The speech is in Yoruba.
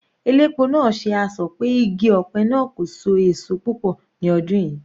Elépo náà ṣe asọ̀ pé igi ọ̀pẹ náà kò so èso púpọ̀ ní ọdún yìí.